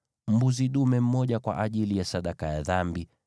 mbuzi dume mmoja kwa ajili ya sadaka ya dhambi;